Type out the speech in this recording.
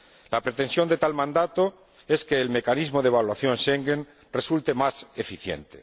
La pretensión de tal mandato es que el mecanismo de evaluación de Schengen resulte más eficiente.